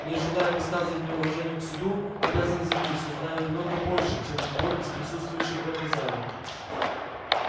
не желая выказывать неуважение к суду обязан заявить что знаю немного больше чем любой из присутствующих в этом зале